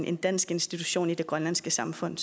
en dansk institution i det grønlandske samfund